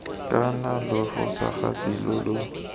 kana lo fosagatse lo lo